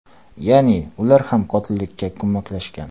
Ya’ni ular ham qotillikka ko‘maklashgan.